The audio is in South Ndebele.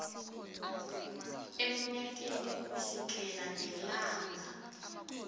emnyakeni kusukela ngelanga